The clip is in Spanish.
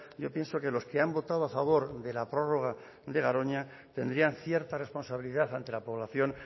yo pienso que los que han votado a favor de la prórroga de garoña tendrían cierta responsabilidad ante la población